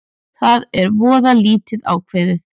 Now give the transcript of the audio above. Það er voða lítið ákveðið